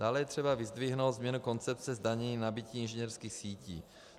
Dále je třeba vyzdvihnout změnu koncepce zdanění nabytí inženýrských sítí.